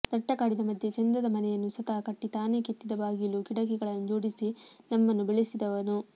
ದಟ್ಟ ಕಾಡಿನ ಮಧ್ಯೆ ಚೆಂದದ ಮನೆಯನ್ನು ಸ್ವತಃ ಕಟ್ಟಿ ತಾನೇ ಕೆತ್ತಿದ ಬಾಗಿಲು ಕಿಡಕಿಗಳನ್ನು ಜೋಡಿಸಿ ನಮ್ಮನ್ನು ಬೆಳೆಸಿದವನು